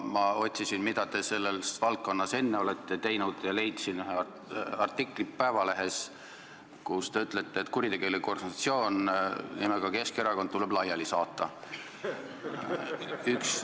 Ma otsisin, mida te selles valdkonnas enne olete teinud, ja leidsin ühe artikli Eesti Päevalehes, kus te ütlete, et kuritegelik organisatsioon nimega Keskerakond tuleb laiali saata.